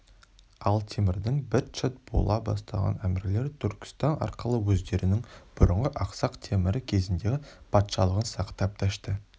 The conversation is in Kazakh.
ал темірдің быт-шыт бола бастаған әмірлері түркістан арқылы өздерінің бұрынғы ақсақ темір кезіндегі патшалығын сақтап дәшті